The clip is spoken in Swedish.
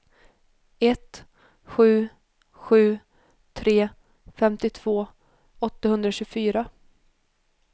ett sju sju tre femtiotvå åttahundratjugofyra